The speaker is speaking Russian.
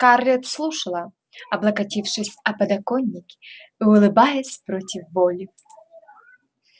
скарлетт слушала облокотившись о подоконник и улыбаясь против воли